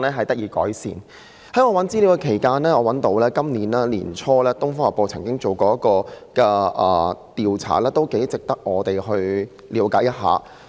在我搜尋資料期間，我找到今年年初《東方日報》曾進行的一項調查，我認為頗值得我們了解一下。